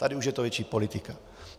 Tady už je to větší politika.